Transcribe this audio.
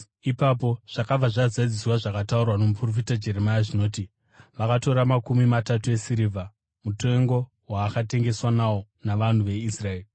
Ipapo zvakabva zvazadziswa zvakataurwa nomuprofita Jeremia zvinoti, “Vakatora makumi matatu esirivha, mutengo waakatengeswa nawo navanhu veIsraeri,